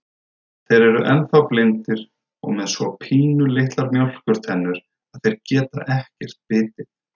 Þeir eru ennþá blindir og með svo pínulitlar mjólkurtennur, að þeir geta ekkert bitið.